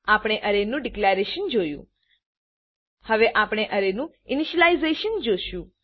આપણે અરેનું ડીકલેરેશન જોયું હવે આપણે અરેનું ઇનીશલાઈઝ જોશું